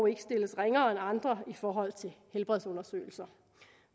ikke stilles ringere end andre i forhold til helbredsundersøgelser